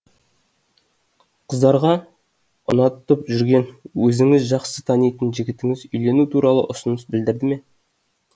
қыздарға ұнатып жүрген өзіңіз жақсы танитын жігітіңіз үйлену туралы ұсыныс білдірді ме